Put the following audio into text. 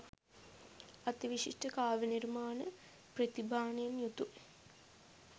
අතිවිශිෂ්ට කාව්‍ය නිර්මාණ ප්‍රතිභානයෙන් යුතු